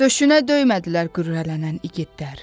Döşünə dəymədilər qürurlanan igidlər.